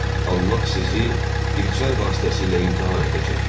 Allah sizi bir çay vasitəsilə imtahan edəcək.